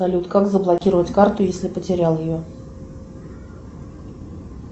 салют как заблокировать карту если потерял ее